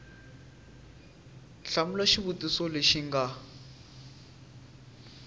hlamula xivutiso lexi xi nga